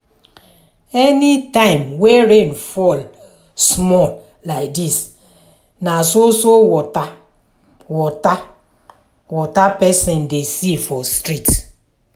anytime wey rain fall small like dis na so so water water water pesin dey see for street.